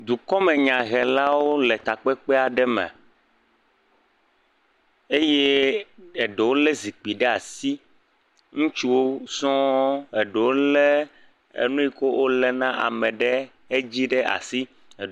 Dukɔmenyahelawo le takpekpe aɖe me eye eɖewo lé zikpi ɖe asi. Ŋutsuwo sɔŋ. Eɖewo lé enu yi ke woléna ame ɖe edzi ɖe asi.